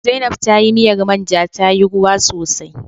Zainaib tayi miyar manja tayi ruwa sosai